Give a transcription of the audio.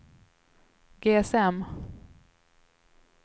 GSM